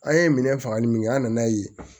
An ye minɛ fagali min kɛ an nan'a ye